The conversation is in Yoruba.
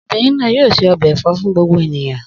Obìnrin náà yóò se ọbẹ̀ ẹ̀fọ́ fún gbogbo ènìyàn.